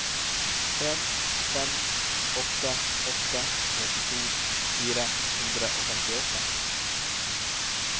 en fem åtte åtte trettito fire hundre og femtiåtte